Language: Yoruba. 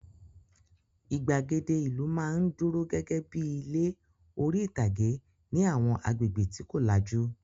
Ìgbàgede ìlú máa ń dúró gẹ́gẹ́ bí i ilé orí-ìtàgé ní àwọn agbègbè tí kò lajú.